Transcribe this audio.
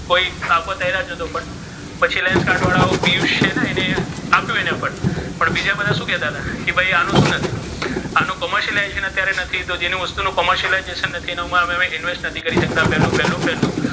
કોઇ આપત તો પણ પછી વાળો પિયુષ છે ને ઍ આપ્યો ઍને પણ બીજા બધા શુ કેતાતા કે ભઇ આનુ શુ નથી commercialization અત્યારે નથી તો જે નો વસ્તુનુ commercialization નથી અમારે investment નથી કરી શકતા પેલુ પેલુ પેલુ.